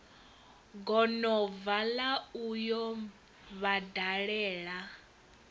gonobva la u yo vhadalela